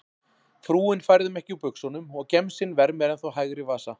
Frúin færði mig ekki úr buxunum og gemsinn vermir ennþá hægri vasa.